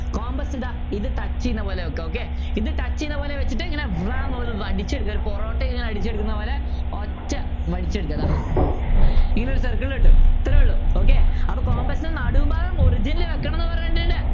compass ഇതാ ഇത് touch ചെയ്യുന്നപോലെ വെക്കുക okay ഇത് touch ചെയ്യുന്നപോലെ വച്ചിട്ട് പൊറോട്ട ഇങ്ങനെ അടിച്ചെടുക്കുന്ന പോലെ ഒറ്റ വടിച്ചെടുക്കുക ഇതാ ഇങ്ങനൊരു circle കിട്ടും ഇത്രേ ഉള്ള okay അപ്പൊ compass നടുഭാഗം origin ൽ വെക്കണം എന്ന് പറഞ്ഞിട്ടില്ലേ